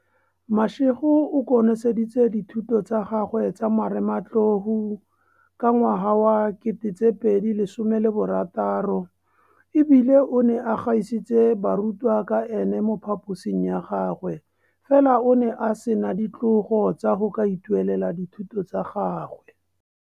Mashego o konoseditse dithuto tsa gagwe tsa marematlou ka 2016 e bile o ne a gaisitse barutwa ka ene mo phaposing ya gagwe, fela o ne a sena ditlogo tsa go ka ituelela dithuto tsa gagwe.